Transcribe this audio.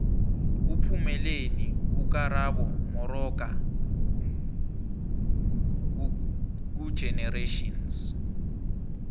uphumeleni ukarabo moxoka kugenerations